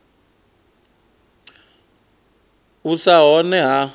u sa vha hone ha